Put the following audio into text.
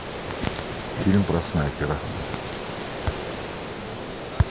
фильм про снайпера